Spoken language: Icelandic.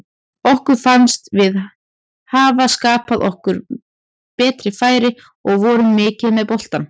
Okkur fannst við hafa skapað okkur betri færi og vorum mikið með boltann.